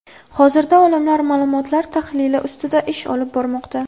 Hozirda olimlar ma’lumotlar tahlili ustida ish olib bormoqda.